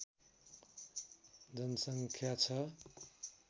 जनसङ्ख्या छ